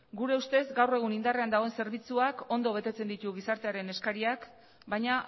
gure ustez gaur egun indarrean dauden zerbitzuak ondo betetzen ditu gizartearen eskariak baina